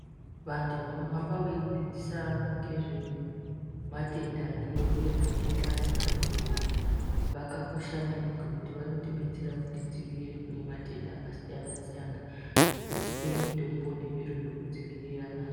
Vantu vanohamba veidzidzisa vantu ngezvematenda ariyo uye matenda achade kuuya vakakosha maningi ngokuti vanotidetsera kutidzivirire kune matenda akasiyana siyana ngokutipe mitombo nezviro zvekudzivirira nazvo.